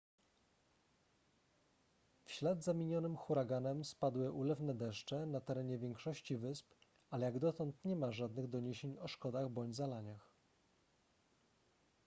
w ślad za minionym huraganem spadły ulewne deszcze na terenie większości wysp ale jak dotąd nie ma żadnych doniesień o szkodach bądź zalaniach